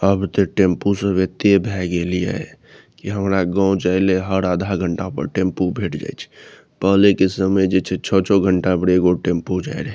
आब ते टेम्पू सब एते भय गेले ये की हमरा गांव जायले हर आधा घंटा पर टेम्पू भेट जाएत पहले के समय जे छै छो-छो घंटा पर एगो टेम्पू जाय रहे --